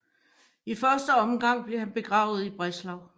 I første omgang blev han begravet i Breslau